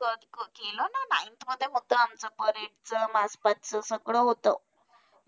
कर कर केलं ना ninth मध्ये होतं आमचं parade चं सगळं होतं.